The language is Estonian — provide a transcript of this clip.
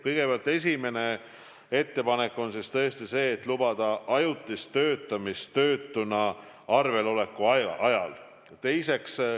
Kõigepealt, esimene ettepanek on see, et lubada ajutist töötamist töötuna arvel oleku ajal.